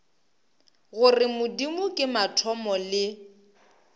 gore modimo ke mathomo le